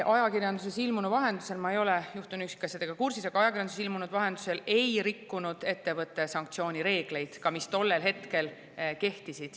Ma ei ole juhtunu üksikasjadega kursis, aga ajakirjanduses ilmunu vahendusel tean, et ettevõte ei rikkunud sanktsioonireegleid, ka mitte neid, mis tollel hetkel kehtisid.